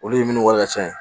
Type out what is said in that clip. Olu ye minnu wari ka ca